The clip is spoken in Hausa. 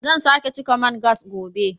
Zan sake cika man gas gobe